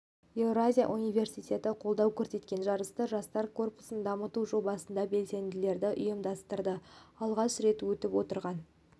еуразия университеті қолдау көрсеткен жарысты жастар корпусын дамыту жобасының белсенділері ұйымдастырды алғаш рет өтіп отырған